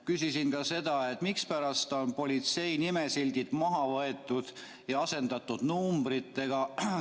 Küsisin ka seda, miks on politsei nimesildid maha võetud ja asendatud numbritega.